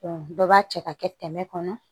dɔ b'a cɛ ka kɛ tɛmɛ kɔnɔ